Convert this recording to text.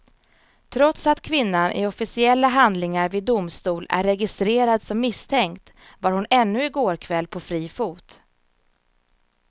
Trots att kvinnan i officiella handlingar vid domstol är registrerad som misstänkt var hon ännu i går kväll på fri fot.